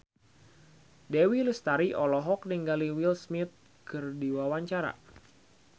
Dewi Lestari olohok ningali Will Smith keur diwawancara